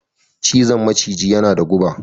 cizon maciji yana da guba